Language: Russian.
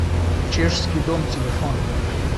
чешский дом телефон